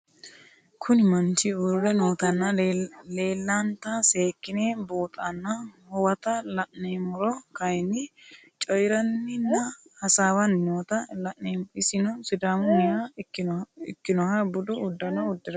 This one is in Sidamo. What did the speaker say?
Kuni mannich uure nootana leelanta seekine buuxana huwata la'nemoro kayini coyiranina hasawani noota la'nemo isino sidamuniha ikinoha budu udanono udire no